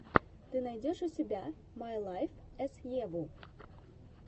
ты найдешь у себя май лайф эс еву